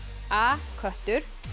a köttur